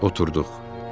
Oturduq.